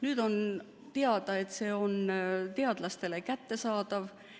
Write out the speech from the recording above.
Nüüd on teada, et see on teadlastele kättesaadav.